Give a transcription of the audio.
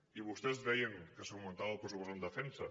i vostès deien que s’augmentava el pressupost en defensa